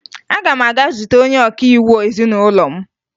Aga m aga zute onye ọkaiwu ezinụlọ m